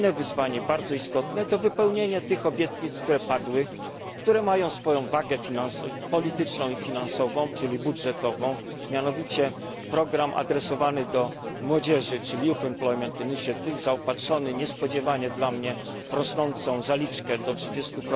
Inne wyzwanie, bardzo istotne, to wypełnienie tych obietnic, które padły, które mają swoją wagę polityczną i finansową, czyli budżetową mianowicie program adresowany do młodzieży, czyli Youth Employment Initiative zaopatrzony niespodziewanie dla mnie w rosnącą zaliczkę do 30